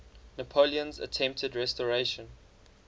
napoleon's attempted restoration